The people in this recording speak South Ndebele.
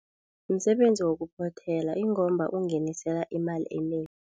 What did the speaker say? Msebenzi wokuphothela ingomba ungingenisela imali enengi.